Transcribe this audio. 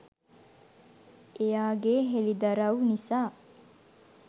එයාගේ හෙළිදරව් නිසා